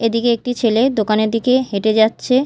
এদিকে একটি ছেলে দোকানের দিকে হেঁটে যাচ্ছে।